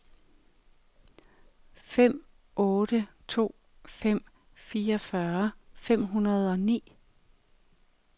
fem otte to fem fireogfyrre fem hundrede og ni